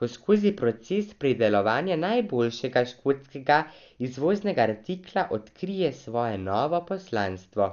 ko skozi proces pridelovanja najboljšega škotskega izvoznega artikla odkrije svoje novo poslanstvo.